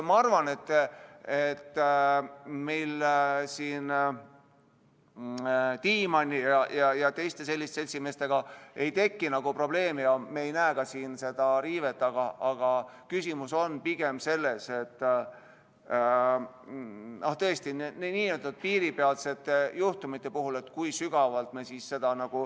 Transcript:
Ma arvan, et Tiimanni ja teiste selliste seltsimeestega ei teki probleemi ja me ei näe siin seda riivet, aga küsimus on pigem tõesti n-ö piiripealsetes juhtumites.